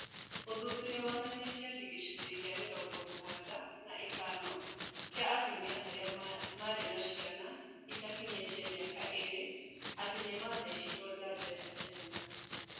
Ũthuthuria wonanĩtie atĩ gĩcunjĩ kĩa mĩrongo mũgwanja na ithano kĩa atumia arĩa marĩ na ciana itakinyĩtia mĩaka ĩĩrĩ atĩ nĩmathecirwo njanjo ya tetenas